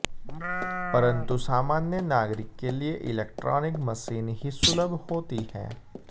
परन्तु सामान्य नागरिक के लिए इलेक्ट्रॉनिक मशीन ही सुलभ होती है